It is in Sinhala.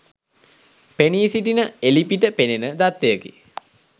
පෙනී සිටින එළිපිට පෙනෙන දත්තයකි.